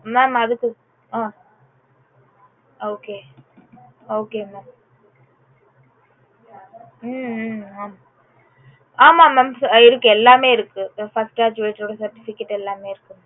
mam அதுக்கு ah okay okay mam hmm hmm ஆமா mam இருக்கு எல்லாமே இருக்கு first graduate certificate எல்லாமே இருக்கு